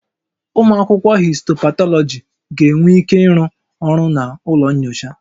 Ụmụ akwụkwọ histopathology ga-enwe ike ịrụ ọrụ na ụlọ nyocha